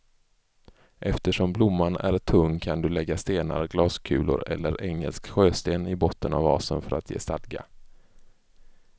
Eftersom blomman är tung kan du lägga stenar, glaskulor eller engelsk sjösten i botten av vasen för att ge stadga.